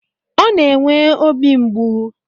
Ọ na-enwe obi mgbu